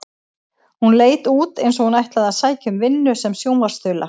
Hún leit út eins og hún ætlaði að sækja um vinnu sem sjónvarpsþula.